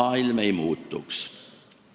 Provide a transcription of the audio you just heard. Maailm ei muutuks.